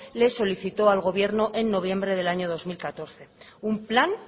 le solicitó al gobierno en noviembre del año dos mil catorce un plan